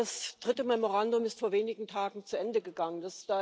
Ja, das dritte Memorandum ist vor wenigen Tagen zu Ende gegangen.